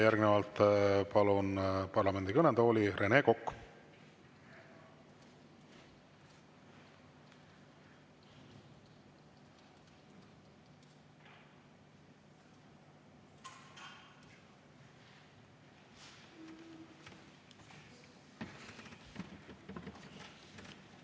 Järgnevalt palun parlamendi kõnetooli, Rene Kokk!